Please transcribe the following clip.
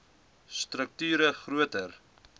strukt ure groter